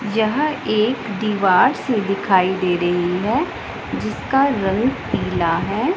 यह एक दीवार सी दिखाई दे रही है जिसका रंग पीला है।